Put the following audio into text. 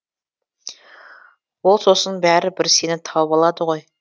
ол сосын бәрі бір сені тауып алады ғой